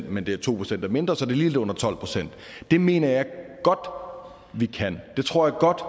men de to procent er mindre så det er lige lidt under tolv procent det mener jeg godt vi kan det tror jeg godt